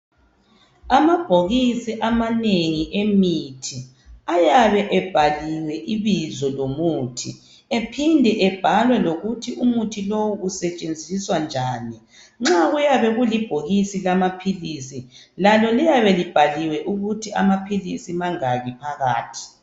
amabhokisi amanengi emithi ayabe ebhaliwe ibizo lomuthi ephinda ebhalwe lokuthi umuthi usetshenziswa njani nxa kuyabe kulibhokisi lamaphilisi lalo liyabe libhaliwe ukuthi amaphilisi mangaki phakathi